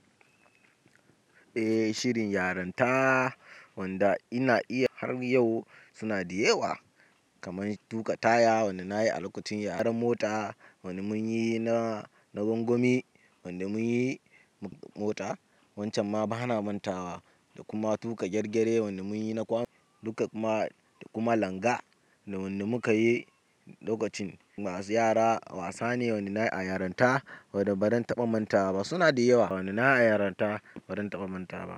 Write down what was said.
Eh, shirin yarenta wanda ina iya har yau suna da yawa. Kamar tuƙa taya wanda na yi a lokacin yaran mota, wanda mun yi na, na gwangwani, wanda mun yi mota. Wancan ma ba na manta wa da kuma tuƙa gyargyre wanda mun yi na kwanu duka ma da kuma langa da wanda muka yi lokacin masu yara wasa ne wanda na yi a yarenta wanda ban taɓa manta ba suna da yawa wanda na yi a yarenta ba dan taɓa manta ba.